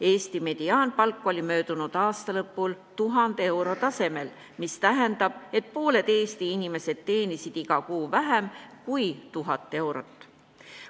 Eesti mediaanpalk oli möödunud aasta lõpul 1000 euro tasemel, mis tähendab, et pooled Eesti inimesed teenisid iga kuu vähem kui 1000 eurot.